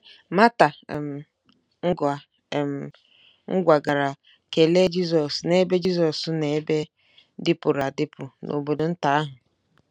Mata um ngwa um ngwa gara kelee Jizọs n’ebe Jizọs n’ebe dịpụrụ adịpụ n’obodo nta ahụ.